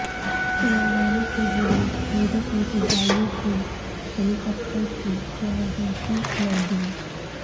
تلنگانہ کے ضلع میدک میں فضائیہ کے ہیلی کاپٹرکی یمرجنسی لینڈنگ